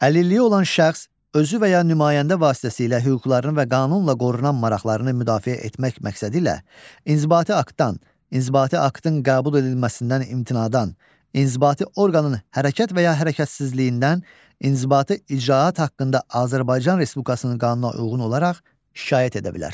Əlilliyi olan şəxs özü və ya nümayəndə vasitəsilə hüquqlarını və qanunla qorunan maraqlarını müdafiə etmək məqsədilə inzibati aktdan, inzibati aktın qəbul edilməsindən imtinadan, inzibati orqanın hərəkət və ya hərəkətsizliyindən, inzibati icraat haqqında Azərbaycan Respublikasının qanununa uyğun olaraq şikayət edə bilər.